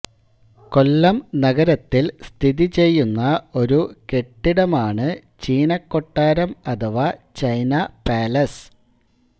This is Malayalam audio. കൊല്ലം നഗരത്തിൽ സ്ഥിതി ചെയ്യുന്ന ഒരു കെട്ടിടമാണ് ചീനക്കൊട്ടാരം അഥവാ ചൈനാ പാലസ്